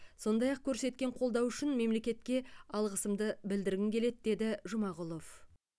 сондай ақ көрсеткен қолдауы үшін мемлекетке алғысымды білдіргім келеді деді жұмағұлов